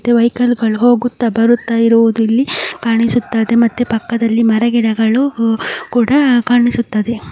Vehicles ಓಡಾಡುತ್ತಿರುವುದು ಕಾಣಿಸ್ತಾ ಇದೆ ಅಕ್ಕಪಕ್ಕ ಮರ ಗಿಡಗಳು ಕೂಡ ಕಾಣಿಸುತ್ತಿದೆ.